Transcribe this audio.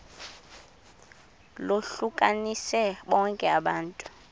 lohlukanise bonke abantu